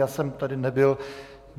Já jsem tady nebyl.